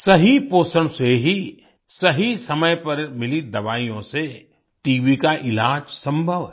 सही पोषण से ही सही समय पर मिली दवाइयों से टीबी का इलाज संभव है